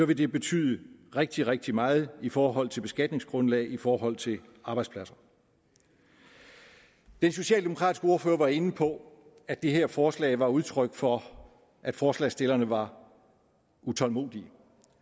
det betyde rigtig rigtig meget i forhold til beskatningsgrundlag og i forhold til arbejdspladser den socialdemokratiske ordfører var inde på at det her forslag var udtryk for at forslagsstillerne var utålmodige